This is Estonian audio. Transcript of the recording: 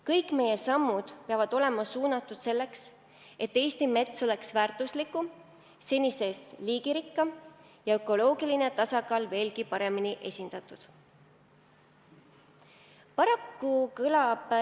Kõik meie sammud peavad olema suunatud sellele, et Eesti mets oleks väärtuslikum, senisest liigirikkam ja ökoloogiline tasakaal veelgi suurem.